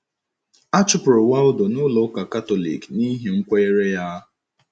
A chụpụrụ Waldo na Ụlọ Ụka Katọlik n’ihi nkwenyere ya.